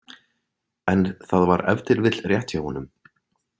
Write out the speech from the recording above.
En það var ef til vill rétt hjá honum.